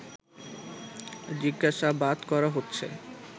জিজ্ঞাসাবাদ করা হচ্ছে